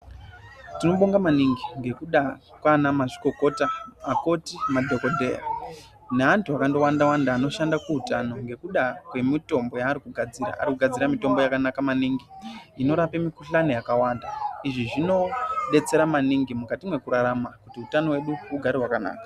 Tinobonga maningi nekuda kwana mazvikokota madhokodheya neantu akawanda wanda anoshanda kuhutano kwemitombo yavanogadzira vanogadzira mitombo yakanaka maningi Inorapa mikuhlani yakawanda izvi Zvinodetsera maningi mukati mekurarama hutano hwedu hugare hwakanaka.